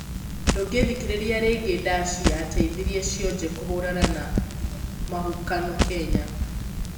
ndũngithikiriria rĩngũ daci yateithirie cionje kũhũrana na mahũkanu kenya